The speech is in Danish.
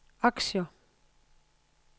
aktier